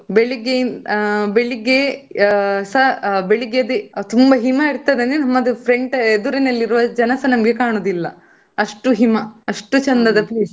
ಅಷ್ಟು ಚಂದ ಉಂಟು, ಬೆಳಿಗ್ಗೆ, ಆ ಬೆಳಿಗ್ಗೆಸ ಬೆಳಿಗ್ಗೆ ಅದೇ ತುಂಬಾ ಹಿಮ ಇರ್ತದೆ ಅಂದ್ರೆ ನಮ್ಮ front ನಮ್ಮ ಎದುರಿನಲ್ಲಿ ಇರುವ ಜನಸ ಕಾಣುದಿಲ್ಲ. ಅಷ್ಟು ಹಿಮ ಅಷ್ಟು ಚೆಂದದ place .